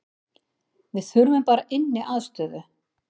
Við þurfum bara inniaðstöðu